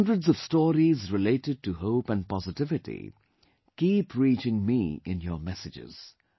Hundreds of stories related to hope and positivity keep reaching me in your messages